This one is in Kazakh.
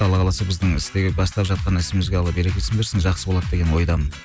алла қаласа біздің бастап жатқан ісімізге алла берекесін берсін жақсы болады деген ойдамын